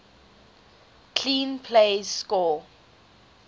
clean plays score